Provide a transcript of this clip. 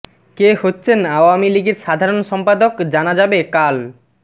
কে হচ্ছেন আওয়ামী লীগের সাধারণ সম্পাদক জানা যাবে কাল